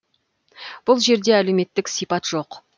бұл жерде әлеуметтік сипат жоқ